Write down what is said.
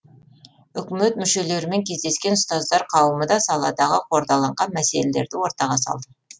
үкімет мүшелерімен кездескен ұстаздар қауымы да саладағы қордаланған мәселелерді ортаға салды